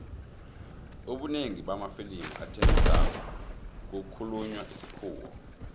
ubunengi bamafilimu athengisako kukhulunywa isikhuwa